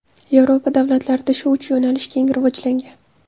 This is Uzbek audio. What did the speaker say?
Yevropa davlatlarida shu uch yo‘nalish keng rivojlangan.